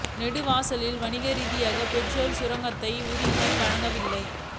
நெடுவாசலில் வணிக ரீதியான பெட்ரோலிய சுரங்க குத்தகைக்கு உரிமம் வழங்கவில்லை